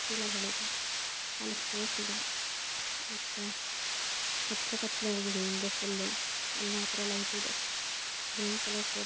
ಚೀಲಗಳು ಇದೆ ಅಲ್ಲಿ ಸ್ಪೇಸ್ ಇದೆ ಮತ್ತೆ ಕತ್ಲೇ ಕತ್ಲೇ ಆಗಿದೆ. ಇಂದೇ ಫುಲ್ಲು ಅಲ್ಲಿ ಮಾತ್ರ ಲೈಟ್ ಇದೆ ಗ್ರೀನ್ ಕಲರ್ ಕೋಟಾ--